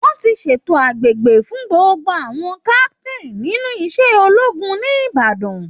Wọ́n ti ń ṣètò àgbéga fún gbogbo àwọn captain nínú iṣẹ́ ológun ní Ibadan